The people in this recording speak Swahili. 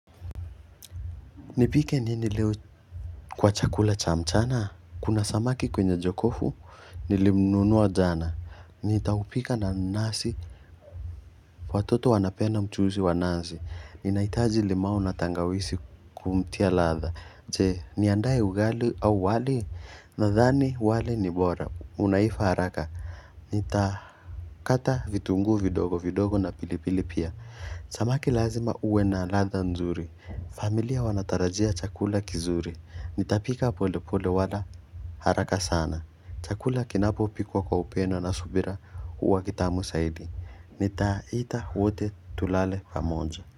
Nipike nini leo kwa chakula cha mchana, kuna samaki kwenye jokofu, nilimnunuwa jana, nitaupika na nasi, watoto wanapenda mchuzi wa nazi, ninahitaji limau na tangawizi kumtia ladha, je, niandae ugali au wali, nadhani wali ni bora, unaiva haraka, nitakata vitungu vidogo, vidogo na pilipili pia. Samaki lazima uwe na ladha nzuri. Familia wanatarajia chakula kizuri. Nitapika pole pole wala haraka sana. Chakula kinapo pikwa kwa upendo na subira huwa kitamu zaidi. Nitaita wote tulale pamoja.